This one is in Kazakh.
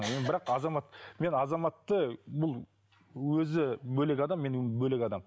ы енді бірақ азамат мен азаматты бұл өзі бөлек адам мен бөлек адам